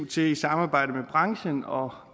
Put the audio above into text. til i samarbejde med branchen og